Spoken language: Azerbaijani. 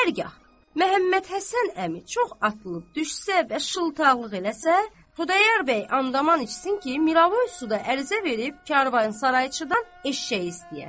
Hərgah Məhəmmədhəsən əmi çox atılıb düşsə və şıltaqlıq eləsə, Xudayar bəy and içsin ki, Miravoyda ərizə verib karvansarayçıdan eşşək istəyər.